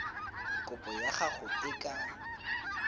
kopo ya gago e ka